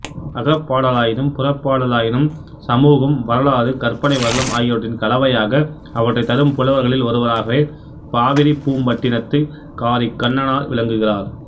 அகப்பாடலாயினும் புறப்பாடலாயினும் சமூகம் வரலாறு கற்பனைவளம் ஆகியவற்றின் கலவையாக அவற்றைத் தரும் புலவர்களில் ஒருவராகவே காவிரிப்பூம்பட்டினத்துக்காரிக்கண்ணனார் விளங்குகிறார்